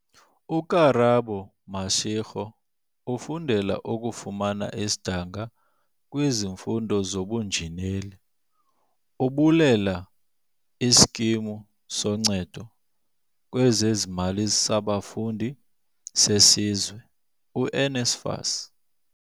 UKarabo Mashego ufundela ukufumana isidanga kwizifundo zobunjineli, ubulela iSkimu soNcedo lwezeZimali saBafundi seSizwe, u-NSFAS.